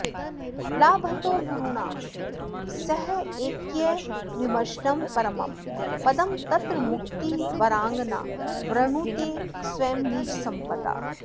लाभतो गुरुणा सहैक्यविमर्शनं परमं पदं तत्र मुक्तिवराङ्गना वृणुते स्वयं निजसम्पदा